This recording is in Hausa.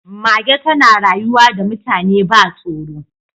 Mage tana rayuwa da mutane ba tsoro